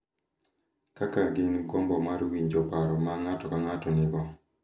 Kaka gin gi gombo mar winjo paro ma ng’ato ka ng’ato nigo